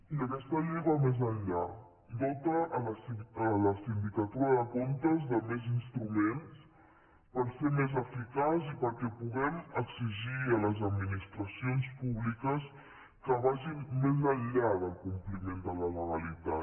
i aquesta llei va més enllà dota la sindicatura de comptes de més instruments per ser més eficaç i perquè puguem exigir a les administracions públiques que vagin més enllà del compliment de la legalitat